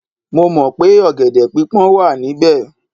Mo mọ̀ pé ọ̀gẹ̀dẹ̀ pípọ́n wà níbẹ̀